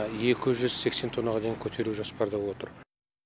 екі жүз сексен тоннаға дейін көтеру жоспарда отыр